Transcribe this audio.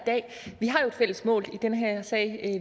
fælles mål i den her sag